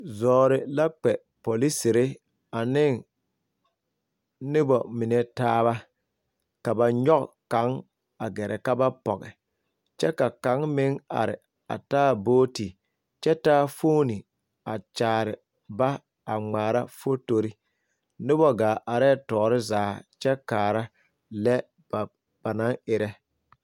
Zɔɔre la polisiri ane noba mine taaba ka ba nyɔge kaŋ a gɛrɛ ka ba pɔge kyɛ ka kaŋ meŋ are a taa buuti kyɛ taa fooni a kyaare ba a ŋmaara fotori noba gaa arɛɛ tɔɔre zaa kyɛ kaara lɛ ba a naŋ erɛ.